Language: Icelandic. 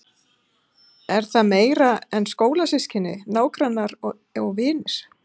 Er það meira en skólasystkini, nágrannar og vinir?